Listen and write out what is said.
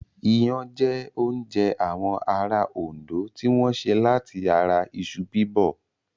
Iyán jẹ́ oúnjẹ àwọn ará Òndó tí wọ́n sè láti ara iṣu Bíbọ̀